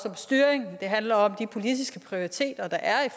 styring det handler om de politiske prioriteter der er i